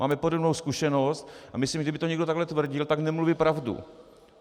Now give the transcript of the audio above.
Máme podobnou zkušenost a myslím, že kdyby to někdo takhle tvrdil, tak nemluví pravdu.